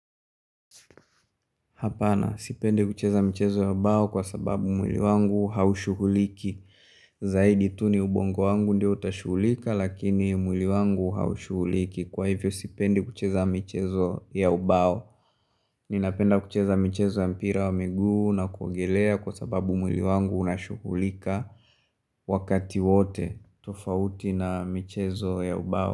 Hapana, sipendi kucheza mchezo ya ubao kwa sababu mwili wangu haushughuliki Zaidi tu ni ubongo wangu ndio utashughulika lakini mwili wangu haushughuliki kwa hivyo sipende kucheza mchezo ya ubao Ninapenda kucheza mchezo ya mpira wa miguu na kuogelea kwa sababu mwili wangu unashughulika Wakati wote tofauti na michezo ya ubao.